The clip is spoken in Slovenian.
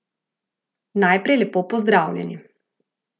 Najprej lepo pozdravljeni.